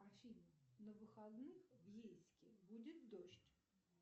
афина на выходных в ейске будет дождь